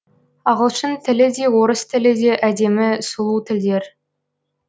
ағылшын тілі де орыс тілі де әдемі сұлу тілдер